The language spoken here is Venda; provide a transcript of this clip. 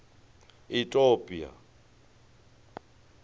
itopia